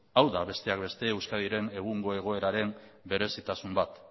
hau da besteak beste euskadiren egungo egoeraren berezitasun bat